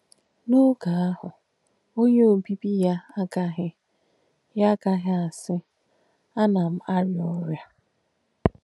N’óge àhù “ọ̀nyè òbìbì yà àgàghī yà àgàghī àsí, Ána m àríà ọ̀rịà.”